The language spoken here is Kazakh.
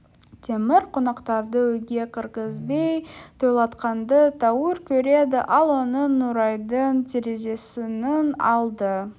темір қонақтарды үйге кіргізбей тойлатқанды тәуір көреді ал оның нұрайдың терезесінің алды